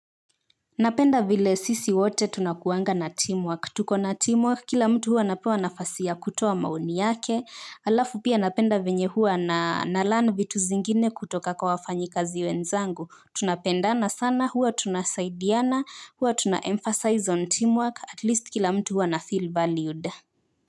Napenda vile sisi wote tunakuanga na teamwork, tuko na teamwork, kila mtu huwa anapewa nafasi ya kutoa maoni yake, halafu pia napenda venye huwa na learn vitu zingine kutoka kwa wafanyikazi wenzangu, tunapendana sana, huwa tunasaidiana, huwa tuna emphasize on teamwork, at least kila mtu huwa anafeel valued.